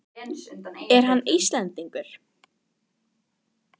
Er hann Íslendingur?